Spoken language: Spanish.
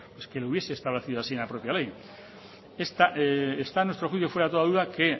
pues que lo hubiese establecido así en la propia ley está a nuestro juicio fuera de toda duda que